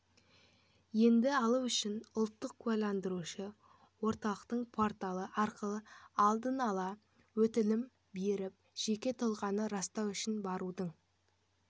енді алу үшін ұлттық куәландырушы орталығының порталы арқылы алдын-ала өтінім беріп жеке тұлғаны растау үшін барудың